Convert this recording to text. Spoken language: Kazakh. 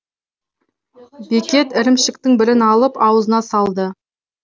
бекет ірімшіктің бірін алып аузына салды